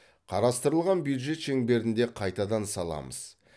қарастырылған бюджет шеңберінде қайтадан саламыз